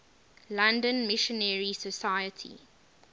london missionary society